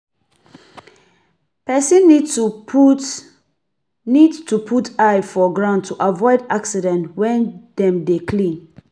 Person need to put need to put eye for ground to avoid accident when dem dey clean